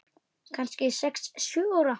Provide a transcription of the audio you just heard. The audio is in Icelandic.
Kannski sex, sjö ára.